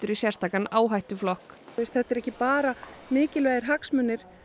í sérstakan áhættuflokk þetta er ekki bara mikilvægir hagsmunir